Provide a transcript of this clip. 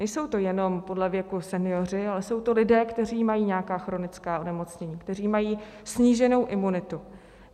Nejsou to jenom podle věku senioři, ale jsou to lidé, kteří mají nějaká chronická onemocnění, kteří mají sníženou imunitu.